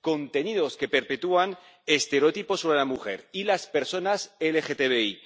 contenidos que perpetúan estereotipos sobre la mujer y las personas LGTBI